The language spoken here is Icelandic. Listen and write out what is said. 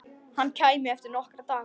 Hann kæmi eftir nokkra daga.